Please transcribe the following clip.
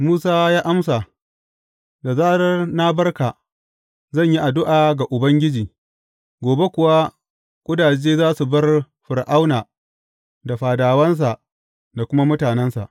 Musa ya amsa, Da zarar na bar ka, zan yi addu’a ga Ubangiji, gobe kuwa ƙudaje za su bar Fir’auna da fadawansa da kuma mutanensa.